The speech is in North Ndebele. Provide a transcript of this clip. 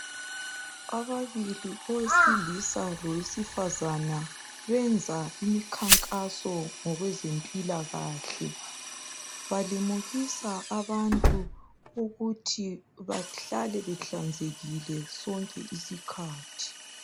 Ababili owesilisa lowesifazana benzani imikhankaso ngokwezempilakahle .Balimukisa abantu ukuthi bahlale behlanzekile sonke isikhathi.